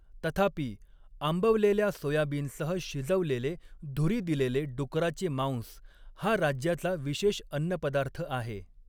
तथापि, आंबवलेल्या सोयाबीनसह शिजवलेले धुरी दिलेले डुकराचे मांस हा राज्याचा विशेष अन्नपदार्थ आहे.